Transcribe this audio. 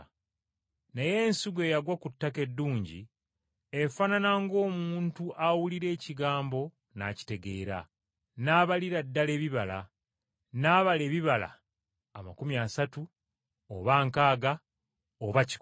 Naye ensigo eyagwa ku ttaka eddungi efaanana ng’omuntu awulira ekigambo n’akitegeera, n’abalira ddala ebibala, n’abala ebibala amakumi asatu, oba nkaaga oba kikumi.”